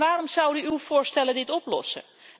En waarom zouden uw voorstellen dit oplossen?